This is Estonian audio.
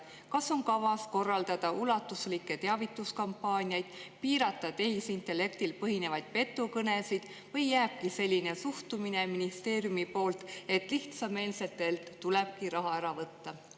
Kas on kavas korraldada ulatuslikke teavituskampaaniaid, piirata tehisintellektil põhinevaid petukõnesid või jääbki selline suhtumine ministeeriumi poolt, et lihtsameelsetelt tulebki raha ära võtta?